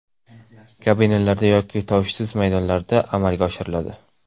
Kabinalarda yoki tovushsiz maydonlarda amalga oshiriladi.